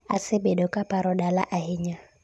asebedo kaparo dala ahinya